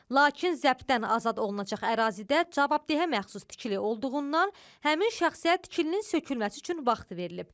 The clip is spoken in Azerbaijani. Lakin zəbdən azad olunacaq ərazidə cavabdehə məxsus tikili olduğundan həmin şəxsə tikilinin sökülməsi üçün vaxt verilib.